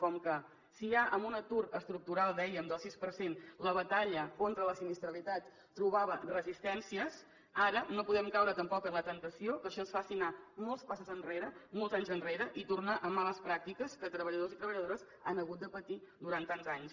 com que si ja amb un atur estructural dèiem del sis per cent la batalla contra la sinistralitat trobava resistències ara no podem caure tampoc en la temptació que això ens faci anar molts passos enrere molts anys enrere i tornar a males pràctiques que treballadors i treballadores han hagut de patir durant tants anys